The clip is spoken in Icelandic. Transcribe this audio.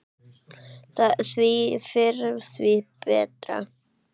Því fyrr því betra.